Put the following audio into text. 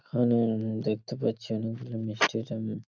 এখানে উম দেখতে পাচ্ছি অনেকগুলো মিস্টি আইটেম ।